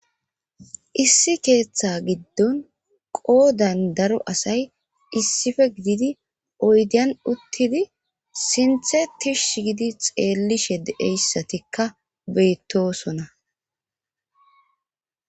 Issi keeththa giddon qoodan daro asay issife gididi oydian uttidi sinthe tish gidi xeellishe de7eyssatikka beyttosona.